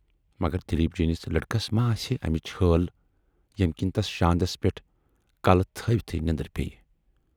مگر دلیٖپ جی نِس لڑکس ما آسہِ ہے امِچ حٲل ییمہِ کِنۍ تَس شاندس پٮ۪ٹھ کلہٕ تھٔوۍتھٕے نٮ۪ندر پییہِ۔